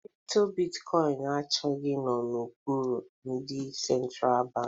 Kripto bitkọin achọghị ịnọ n'okpuru ndị sentra bankị